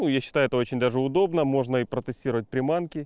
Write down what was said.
ну я считаю это очень даже удобно можно и протестировать приманки